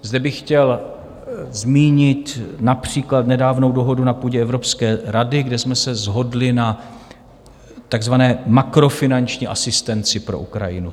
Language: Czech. Zde bych chtěl zmínit například nedávnou dohodu na půdě Evropské rady, kde jsme se shodli na takzvané makrofinanční asistenci pro Ukrajinu.